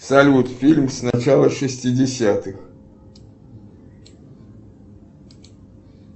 салют фильм с начала шестидесятых